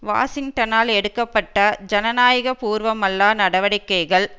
வாஷிங்டனால் எடுக்க பட்ட ஜனநாயக பூர்வமல்லா நடவடிக்கைகள்